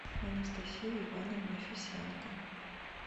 анастасии ивановне фесенко